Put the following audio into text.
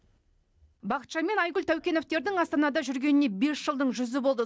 бақытжан мен айгүл таукеновтердің астанада жүргеніне бес жылдың жүзі болды